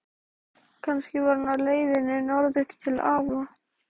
Sú saga segir að átrúnaðargoð Bjarna skólastjóra, Jónas frá